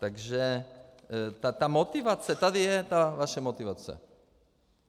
Takže ta motivace - tady je ta vaše motivace.